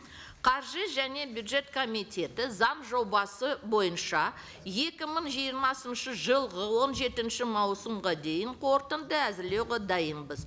қаржы және бюджет комитеті заң жобасы бойынша екі мың жиырмасыншы жылғы он жетінші маусымға дейін қорытынды әзірлеуге дайынбыз